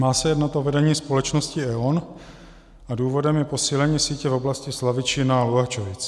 Má se jednat o vedení společnosti E.ON a důvodem je posílení sítě v oblasti Slavičína a Luhačovic.